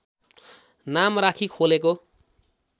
नाम राखी खोलेको